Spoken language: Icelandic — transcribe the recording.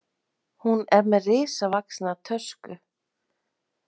Hún er með risavaxna tösku.